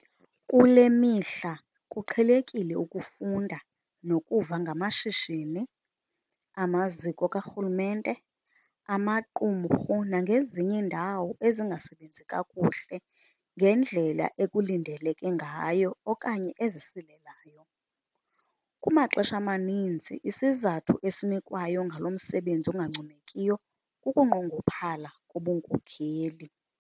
Kule mihla kuqhelekile ukufunda nokuva ngamashishini, amaziko karhulumente, amaqumrhu nangezinye iindawo ezingasebenzi kakuhle ngendlela ekulindeleke ngayo okanye ezisilelayo. Kumaxesha amaninzi isizathu esinikwayo ngalo msebenzi ungancomekiyo kukunqongophala kobunkokeli.